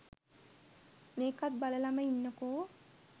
මේකත් බලලම ඉන්නකෝ.